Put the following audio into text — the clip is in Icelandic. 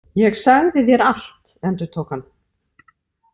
Ég sagði þér allt, endurtók hann.